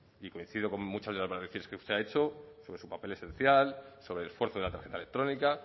y coincido con muchas de las manifestaciones que usted ha hecho sobre su papel esencial sobre el esfuerzo de la tarjeta electrónica